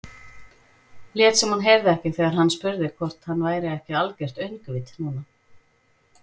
Lét sem hún heyrði ekki þegar hann spurði hvort hann væri ekki algert öngvit núna.